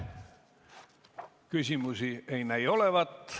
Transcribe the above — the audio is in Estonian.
Küsimusi ei näi olevat.